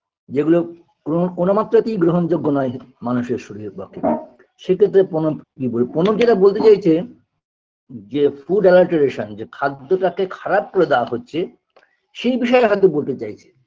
যেগুলো কোনো কোনো মাত্রাতেই গ্রহণযোগ্য নয় মানুষের শরীরের পক্ষে সেক্ষেত্রে প্রনব প্রনব যেটা বলতে চাইছে যে food alertaration যে খাদ্য টাকে খারাপ করে দেওয়া হচ্ছে সেই বিষয়ে হয়তো বলতে চাইছে